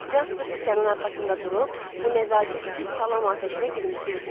Jasper sükanın arxasında durub bu nəzakətsiz salam atəşinə gülümsüyürdü.